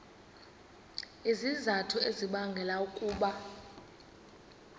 izizathu ezibangela ukuba